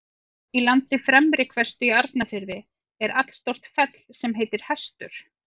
Í landi Fremri-Hvestu í Arnarfirði er allstórt fell sem heitir Hestur.